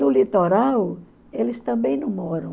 No litoral, eles também não moram.